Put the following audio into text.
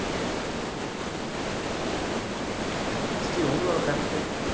உம் okay கண்டிப்பா ஸ்ரீ உங்களோட கருத்து